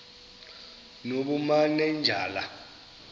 nobumanejala